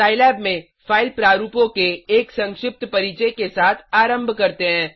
Scilab में file प्रारूपों के एक संक्षिप्त परिचय के साथ आरम्भ करते हैं